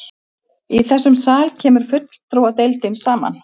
Í þessum sal kemur fulltrúadeildin saman.